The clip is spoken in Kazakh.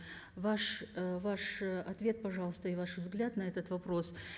ваш ы э твет пожалуйста и ваш взгляд на этот вопрос